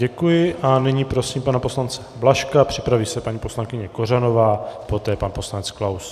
Děkuji a nyní prosím pana poslance Blažka, připraví se paní poslankyně Kořanová, poté pan poslanec Klaus.